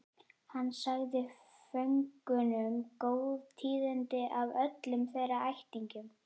Hann sagði föngunum góð tíðindi af öllum þeirra ættingjum.